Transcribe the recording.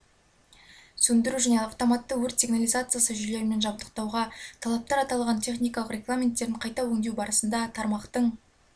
сөндіру және автоматты өрт сигнализациясы жүйелерімен жабдықтауға талаптар аталған техникалық регламенттерін қайта өңдеу барысында тармақтың